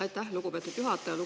Aitäh, lugupeetud juhataja!